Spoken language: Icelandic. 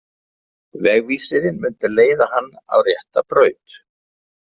Vegvísirinn myndi leiða hana á rétta braut.